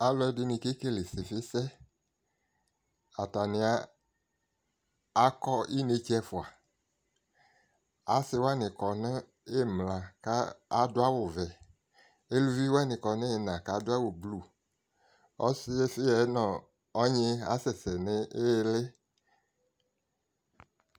Alʋɛdɩnɩ kekele ɩsɩfɩsɛ Atanɩ akɔ inetse ɛfua Asɩwanɩ kɔ nʋ ɩmla ka a adʋ awʋ vɛ Eluviwanɩ kɔ n'iina k'adʋ awʋ blu Ɔsɩfɩ yɛ nʋ ɔnyɩ asɛsɛ nʋ iili